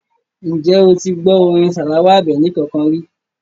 Ǹjẹ́ o ti gbọ́ orin Salawa Àbẹ̀ní kankan ri?